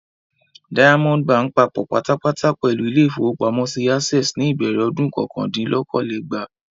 Diamond Báńkì papọ̀ pátápátá pẹ̀lú ilé-ìfowópamọ́sí Access ní ìbẹ̀rẹ̀ ọdún kọkàndínlókòó-lé-ẹgbàá.